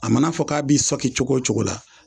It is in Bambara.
A mana fɔ k'a b'i sɔki cogo cogo la.